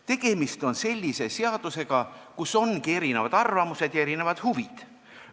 Tegemist on sellise seadusega, kus ongi erinevad arvamused ja huvid.